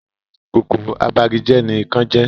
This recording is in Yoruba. Kòkòrò abagijẹ́ ní ikán jẹ́